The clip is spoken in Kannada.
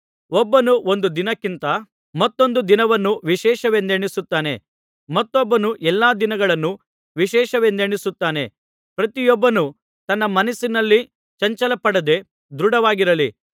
ಒಬ್ಬನು ಒಂದು ದಿನಕ್ಕಿಂತ ಮತ್ತೊಂದು ದಿನವನ್ನು ವಿಶೇಷವೆಂದೆಣಿಸುತ್ತಾನೆ ಮತ್ತೊಬ್ಬನು ಎಲ್ಲಾ ದಿನಗಳನ್ನೂ ವಿಶೇಷವೆಂದೆಣಿಸುತ್ತಾನೆ ಪ್ರತಿಯೊಬ್ಬನು ತನ್ನ ತನ್ನ ಮನಸ್ಸಿನಲ್ಲಿ ಚಂಚಲಪಡದೆ ದೃಢವಾಗಿರಲಿ